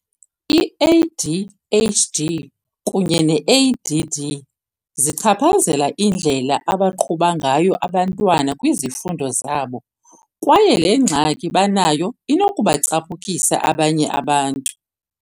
I-ADHD kunye ne-ADD zichaphazela indlela abaqhuba ngayo abantwana kwizifundo zabo kwaye le ngxaki banayo inokubacaphukisa abanye abantu.